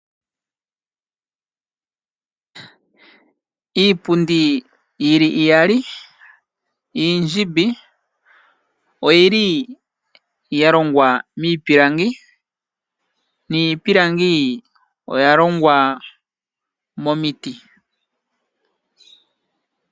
Iipundi yili iyali iindjimbi oyili yalongwa miipilangi, niipilangi oyalongwa momiti.